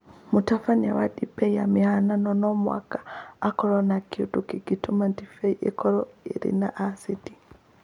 mũtabania wa ndibei ya mũhihano no mũhaka akorũo na kĩndũ kĩngĩtũma ndibei ĩkorũo ĩrĩ na acidi